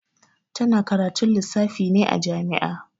Ta na karatun lissafi ne a jami'a